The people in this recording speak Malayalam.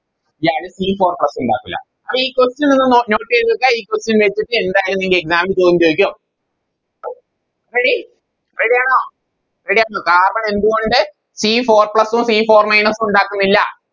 ഇയാൾ C four plus ഇണ്ടാക്കൂല അപ്പൊ ഈ Question ഒന്ന് Note ചെയ്ത വെക്ക ഈ Question വെച്ചിറ്റ് എന്തായാലും നിങ്ങളെ Exam ന് ചോദ്യം ചോയിക്കും Ready ready ആണോ ready ആണോ carbon എന്തുകൊണ്ട് C four plus ഉ C four minus ഉ ഇണ്ടാക്കുന്നില